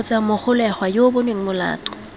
kgotsa mogolegwa yo bonweng molato